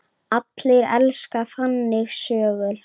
Allir elska þannig sögur.